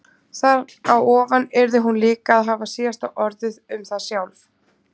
Þar á ofan yrði hún líka að hafa síðasta orðið um það sjálf.